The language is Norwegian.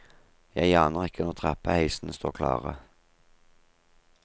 Jeg aner ikke når trappeheisene står klare.